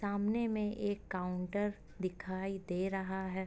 सामने में एक काउंटर दिखाई दे रहा है।